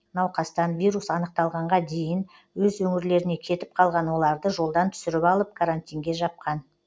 науқастан вирус анықталғанға дейін өз өңірлеріне кетіп қалған оларды жолдан түсіріп алып карантинге жапқан